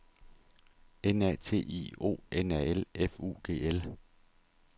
N A T I O N A L F U G L